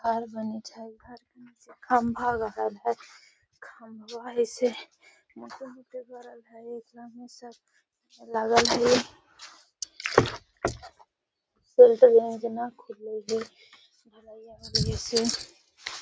शहर में खम्भा गाड़ल है। खम्भा हई से लागल हई। --